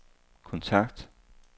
kontakt